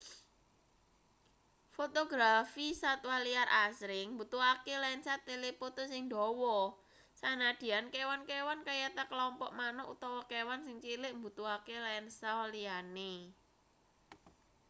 fotografi satwa liar asring mbutuhake lensa telepoto sing dawa sanadyan kewan-kewan kayata klompok manuk utawa kewan sing cilik mbutuhake lensa liyane